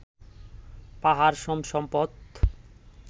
পাহাড়সম সম্পদ